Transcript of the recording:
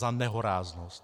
Za nehoráznost!